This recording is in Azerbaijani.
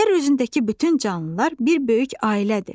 Yer üzündəki bütün canlılar bir böyük ailədir.